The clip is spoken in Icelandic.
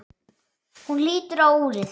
Hún lítur á úrið.